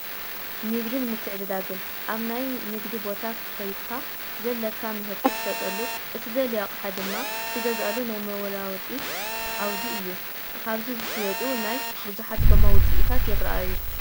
ንግድን ምትዕድዳግን፡- ኣብ ናይ ንግዲ ቦታ ኮይድካ ዘለካ ምህርቲ ትሸጠሉ፣ እትደልዮ ኣቕሓ ድማ ትገዝኣሉ ናይ ዋልውዋጥ ዓውዲ እዮ፡፡ ኣብዚ ዝሽየጡ ናይ ብዙሓት ጎማ ውፅኢታት ይራኣዩ፡፡